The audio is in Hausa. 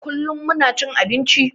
Kullum muna cin abinci